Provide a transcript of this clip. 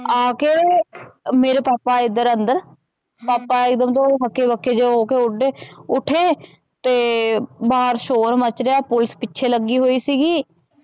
ਆਕੇ ਮੇਰੇ ਪਾਪਾ ਆਲੇ ਇਧਰ ਅੰਦਰ ਪਾਪਾ ਹਕੇ ਬਕੇ ਜੇ ਹੋਕੇ ਹੋਦੇ ਓਠੇ ਤੇ ਬਾਹਰ ਸ਼ੋਰ ਮਚ ਰਿਹਾ ਪੁਲਿਸ ਪਿਛੇ ਲਗੀ ਹੋਈ ਸੀਗੀ।